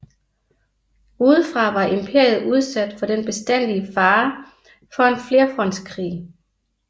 Udefra var imperiet udsat for den bestandige fare for en flerfrontskrig